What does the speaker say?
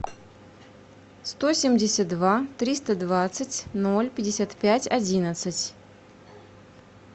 сто семьдесят два триста двадцать ноль пятьдесят пять одиннадцать